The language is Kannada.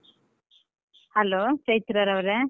Hello ಚೈತ್ರಾರವರೆ.